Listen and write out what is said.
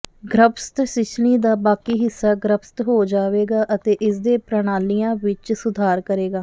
ਗਰੱਭਸਥ ਸ਼ੀਸ਼ਣੀ ਦਾ ਬਾਕੀ ਹਿੱਸਾ ਗਰੱਭਸਥ ਹੋ ਜਾਵੇਗਾ ਅਤੇ ਇਸਦੇ ਪ੍ਰਣਾਲੀਆਂ ਵਿੱਚ ਸੁਧਾਰ ਕਰੇਗਾ